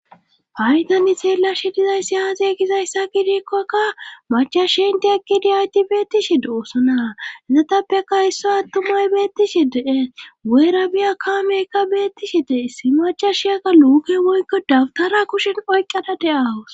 faydani seela shi dizayssi haaze gizayssa gidikkokka machashi inti ekki diyayti beettishi doossonahezatappeka isso attumay beettishi dee weyra biya kaameykka beettishi dee isi macha shiyaka luuke woykko dabtara kushen oyqqada de7awus